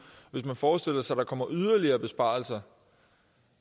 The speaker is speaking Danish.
hvis man forestiller sig at der kommer yderligere besparelser